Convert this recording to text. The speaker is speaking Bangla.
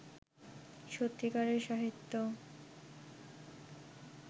সত্যিকারের সাহিত্য